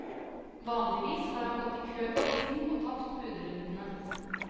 Vanligvis har han gått i kø på visning og tapt budrundene.